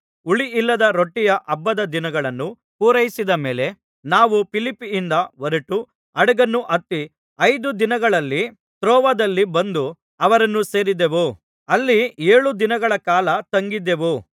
ಹುಳಿಯಿಲ್ಲದ ರೊಟ್ಟಿಯ ಹಬ್ಬದ ದಿನಗಳನ್ನು ಪೂರೈಸಿದ ಮೇಲೆ ನಾವು ಫಿಲಿಪ್ಪಿಯಿಂದ ಹೊರಟು ಹಡಗನ್ನು ಹತ್ತಿ ಐದು ದಿನಗಳಲ್ಲಿ‍ ತ್ರೋವದಲ್ಲಿ ಬಂದು ಅವರನ್ನು ಸೇರಿದೆವು ಅಲ್ಲಿ ಏಳು ದಿನಗಳ ಕಾಲ ತಂಗಿದ್ದೆವು